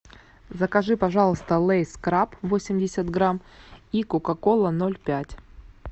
закажи пожалуйста лейс краб восемьдесят грамм и кока кола ноль пять